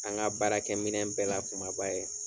An ka baara kɛ minɛn bɛɛ la kumaba ye